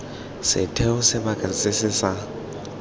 setheo sebaka se se sa